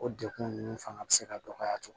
O dekun nunnu fanga be se ka dɔgɔya cogo min